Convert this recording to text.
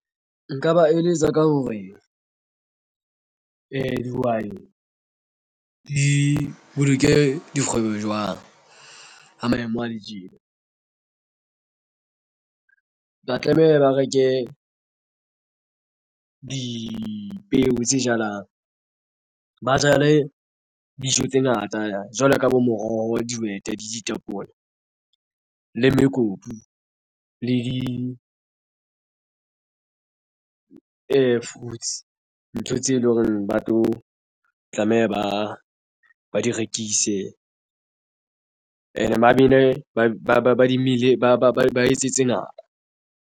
Nka ba eletsa ka hore dihwai di boloke dikgwebo jwang ha maemo ale tjena. Ba tlameha ba reke dipeo tse jalang ba jale dijo tse ngata jwalo ka bo moroho, dihwete le ditapole le mekopu le di-fruits ntho tseo e leng hore ba tlo tlameha ba di rekise. And ba bile ba di mmele ba etsetse nako.